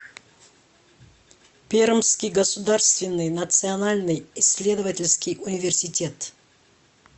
пермский государственный национальный исследовательский университет